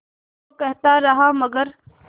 वो कहता रहा मगर